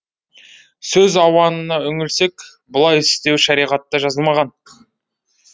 сөз ауанына үңілсек бұлай істеу шариғатта жазылмаған